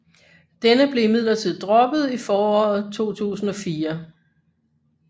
Denne blev imidlertid droppet i foråret 2004